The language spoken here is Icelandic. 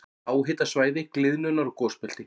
Háhitasvæði- gliðnunar- og gosbelti